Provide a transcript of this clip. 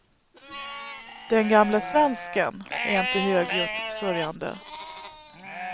Den gamla svensken är inte högljutt sörjande.